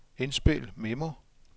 indspil memo